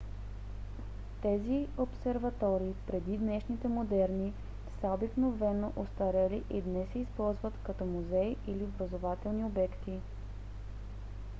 тези обсерватории преди днешните модерни са обикновено остарели и днес се използват като музеи или образователни обекти